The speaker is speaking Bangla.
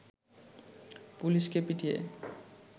পুলিশকে পিটিয়ে